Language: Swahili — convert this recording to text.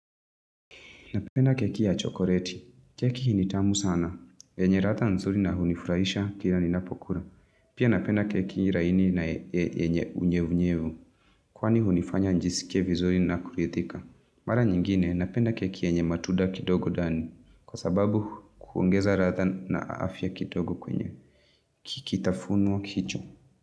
Napenda keki ya chokoleti. Keki ni tamu sana. Yenye radha nzuri na hunifurahisha kila ninapokula. Pia napenda keki laini na yenye unyevunyevu. Kwani hunifanya njisikie vizuri na kuridhika. Mara nyingine napenda keki yenye matunda kidogo ndani. Kwa sababu huongeza radha na afya kidogo kwenye kitafunwa hicho.